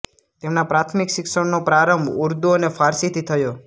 તેમના પ્રાથમિક શિક્ષણનો પ્રારંભ ઉર્દુ અને ફારસીથી થયો